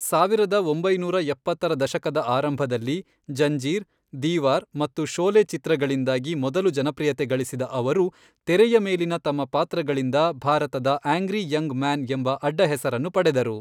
ಸಾವಿರದ ಒಂಬೈನೂರ ಎಪ್ಪತ್ತರ ದಶಕದ ಆರಂಭದಲ್ಲಿ ಜಂಜೀರ್, ದೀವಾರ್ ಮತ್ತು ಶೋಲೆ ಚಿತ್ರಗಳಿಂದಾಗಿ ಮೊದಲು ಜನಪ್ರಿಯತೆ ಗಳಿಸಿದ ಅವರು, ತೆರೆಯ ಮೇಲಿನ ತಮ್ಮ ಪಾತ್ರಗಳಿಂದ ಭಾರತದ ಆಂಗ್ರೀ ಯಂಗ್ ಮ್ಯಾನ್ ಎಂಬ ಅಡ್ಡಹೆಸರನ್ನು ಪಡೆದರು.